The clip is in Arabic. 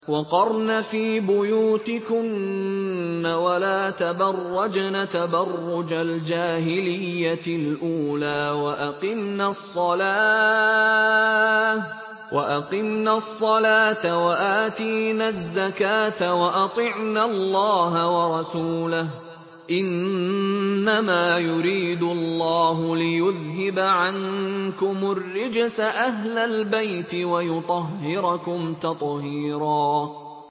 وَقَرْنَ فِي بُيُوتِكُنَّ وَلَا تَبَرَّجْنَ تَبَرُّجَ الْجَاهِلِيَّةِ الْأُولَىٰ ۖ وَأَقِمْنَ الصَّلَاةَ وَآتِينَ الزَّكَاةَ وَأَطِعْنَ اللَّهَ وَرَسُولَهُ ۚ إِنَّمَا يُرِيدُ اللَّهُ لِيُذْهِبَ عَنكُمُ الرِّجْسَ أَهْلَ الْبَيْتِ وَيُطَهِّرَكُمْ تَطْهِيرًا